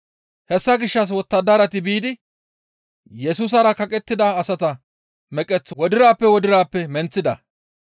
Hessa gishshas wottadarati biidi Yesusara kaqettida asata meqeth wodirappe wodirappe menththida.